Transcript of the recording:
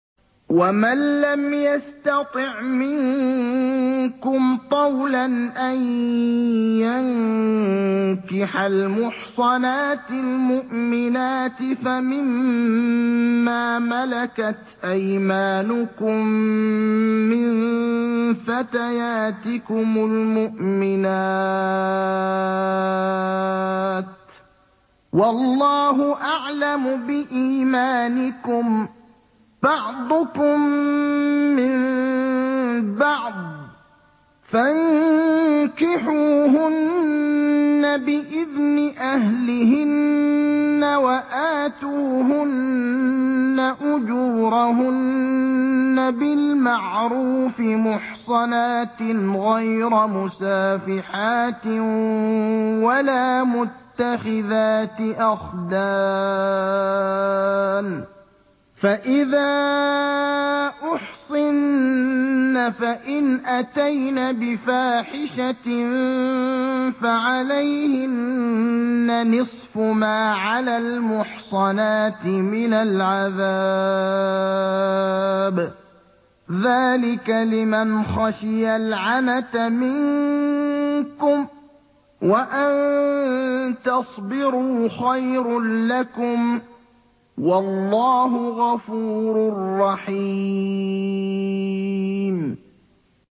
وَمَن لَّمْ يَسْتَطِعْ مِنكُمْ طَوْلًا أَن يَنكِحَ الْمُحْصَنَاتِ الْمُؤْمِنَاتِ فَمِن مَّا مَلَكَتْ أَيْمَانُكُم مِّن فَتَيَاتِكُمُ الْمُؤْمِنَاتِ ۚ وَاللَّهُ أَعْلَمُ بِإِيمَانِكُم ۚ بَعْضُكُم مِّن بَعْضٍ ۚ فَانكِحُوهُنَّ بِإِذْنِ أَهْلِهِنَّ وَآتُوهُنَّ أُجُورَهُنَّ بِالْمَعْرُوفِ مُحْصَنَاتٍ غَيْرَ مُسَافِحَاتٍ وَلَا مُتَّخِذَاتِ أَخْدَانٍ ۚ فَإِذَا أُحْصِنَّ فَإِنْ أَتَيْنَ بِفَاحِشَةٍ فَعَلَيْهِنَّ نِصْفُ مَا عَلَى الْمُحْصَنَاتِ مِنَ الْعَذَابِ ۚ ذَٰلِكَ لِمَنْ خَشِيَ الْعَنَتَ مِنكُمْ ۚ وَأَن تَصْبِرُوا خَيْرٌ لَّكُمْ ۗ وَاللَّهُ غَفُورٌ رَّحِيمٌ